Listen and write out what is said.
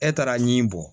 E taara ni bɔ